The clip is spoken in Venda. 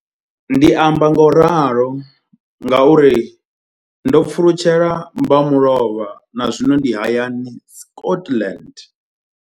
Ndi amba ngauralo nga uri ndo pfulutshela mbamulovha na zwino ndi hayani, Scotland.